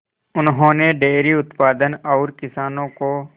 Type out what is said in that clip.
उन्होंने डेयरी उत्पादन और किसानों को